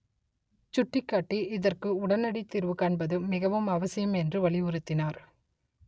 சுட்டிக்காட்டி இதற்கு உடனடித்தீர்வு காண்பது மிகவும் அவசியம் என்று வலியுறுத்தினார்